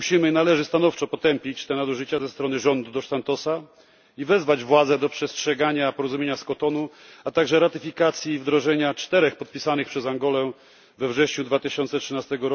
Należy stanowczo potępić te nadużycia ze strony rządu dos Santosa i wezwać władze do przestrzegania porozumienia z Kotonu, a także ratyfikacji wdrożenia czterech podpisanych przez Angolę we wrześniu 2013